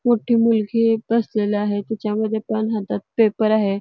मोठी मुलगी बसलेली आहे तिच्या मध्ये हातात पण पेपर आहे.